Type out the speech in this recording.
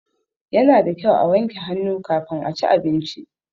Ya na da kyau a wanke hannu kafin a ci abinci.